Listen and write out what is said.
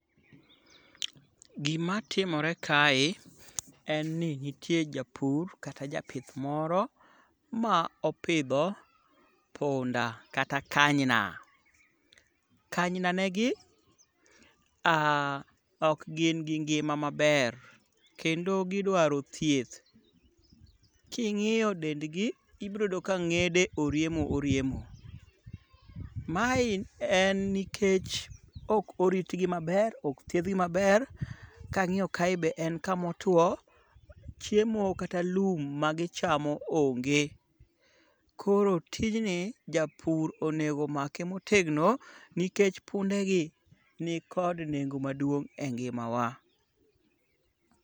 Gimatimore kae en ni nitie japur kata japith moro ma opidho punda kata kanyna. Kanynanegi okgin gi ngima maber kendo gidwaro thieth. King'iyo dendgi ibroyudo ka ng'ede oriemo oriemo. Mae en nikech ok oritgi maber ok thiedhgi maber kang'iyo kae be en kamotwo chiemo kata lum magichamo onge, koro tijni japur onego make motegno nikech pundegi nikod nengo maduong' e ngimawa.